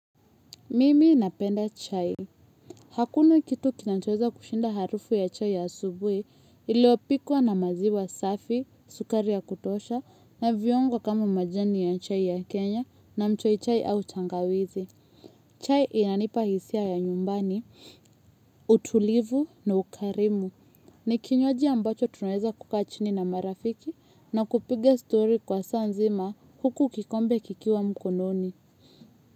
Mimi napenda chai. Hakuna kitu kinachoweza kushinda harufu ya chai asubuhi iliyopikwa na maziwa safi, sukari ya kutosha, na viungo kama majani ya chai ya Kenya na mchoi chai au tangawizi. Chai inanipa hisia ya nyumbani, utulivu na ukarimu, ni kinywaji ambacho tunaweza kukaa chini na marafiki na kupiga story kwa saa nzima huku kikombe kikiwa mkononi.